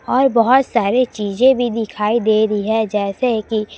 और बहोत सारे चीजें भी दिखाई दे रहीं हैं जैसे की--